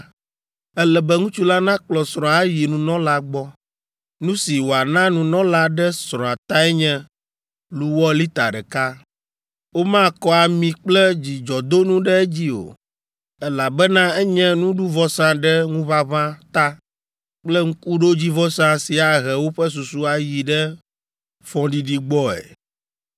ele be ŋutsu la nakplɔ srɔ̃a ayi nunɔla gbɔ. Nu si wòana nunɔla ɖe srɔ̃a tae nye luwɔ lita ɖeka. Womakɔ ami kple dzudzɔdonu ɖe edzi o, elabena enye nuɖuvɔsa ɖe ŋuʋaʋã ta kple ŋkuɖodzivɔsa si ahe woƒe susu ayi ɖe fɔɖiɖi gbɔe.